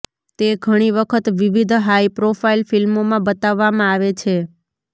તે ઘણી વખત વિવિધ હાઇ પ્રોફાઇલ ફિલ્મોમાં બતાવવામાં આવે છે